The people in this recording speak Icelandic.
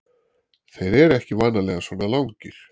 Þeir eru ekki vanalega svona langir.